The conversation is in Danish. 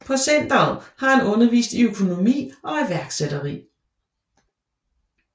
På centeret har han undervist i økonomi og iværksætteri